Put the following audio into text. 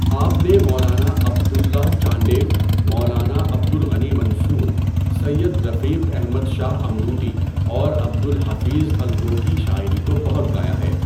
آپ نے مولانا عبد اللہ چانڈیو، مولانا عبد الغنی منصور، سید رفیق احمد شاہ امروٹی اور عبد الحفیظ الرو کی شاعری کو بہت گایا ہے۔